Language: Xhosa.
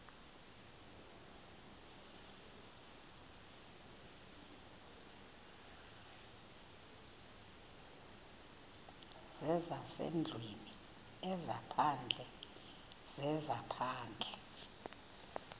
zezasendlwini ezaphandle zezaphandle